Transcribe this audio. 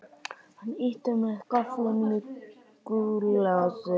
Hann ýtti með gafflinum í gúllasið.